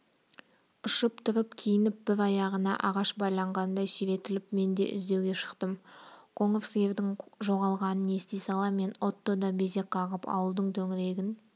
ұшып тұрып киініп бір аяғына ағаш байланғандай сүйретіліп мен де іздеуге шықтым қоңыр сиырдың жоғалғанын ести сала мен отто да безек қағып ауылдың төңірегін